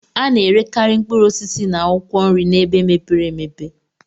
A na-erekarị mkpụrụ osisi na akwụkwọ nri n'ebe mepere emepe..